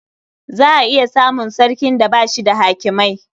Za a iya samun sarkin da ba shi da hakimai.